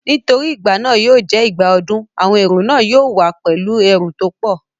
Nítorí igbà náà yóò jẹ́ ìgbà ọdún, àwọn èrò náà yóò wá pẹ̀lú ẹrù tó pọ̀